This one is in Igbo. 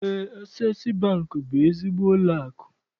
Eé, Asees Bankị bụ ezigbo ụlọakụ.